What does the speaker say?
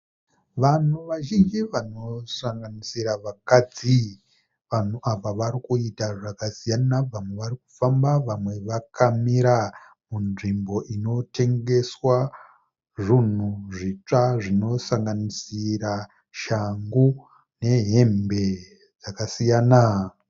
Vanhu vazhinji vanosanganisira vakadzi. Vanhu ava varikuita zvakasiyana, vamwe varikufamba, vamwe vakamira, munzvimbo inotengeswa zvunhu zvitsva. Zvinosanganisira shangu nehembe dzakasiyana.